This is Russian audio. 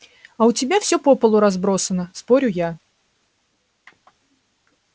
а у тебя все по полу разбросано спорю я